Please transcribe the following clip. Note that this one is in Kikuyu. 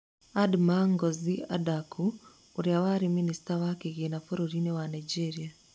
Adamma Ngozi Adaku: Ũrĩa warĩ minista wa kĩgĩna bũrũri-inĩ wa Nigeria